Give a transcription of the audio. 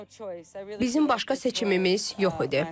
Bizim başqa seçimimiz yox idi.